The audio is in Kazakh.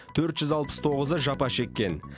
төрт жүз алпыс тоғызы жапа шеккен